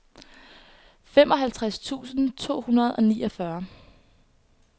femoghalvtreds tusind to hundrede og niogfyrre